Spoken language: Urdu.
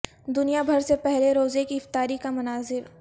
دنیا بھر سے پہلے روزے کی افطاری کے مناظر